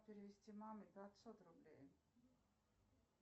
перевести маме пятьсот рублей